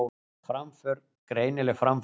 Framför, greinileg framför